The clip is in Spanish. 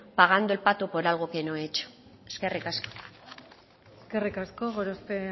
pagando el pato por algo que no he hecho eskerrik asko eskerrik asko gorospe